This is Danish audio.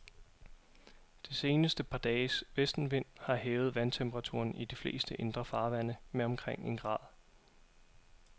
Det seneste par dages vestenvind har hævet vandtemperaturen i de fleste indre farvande med omkring en grad.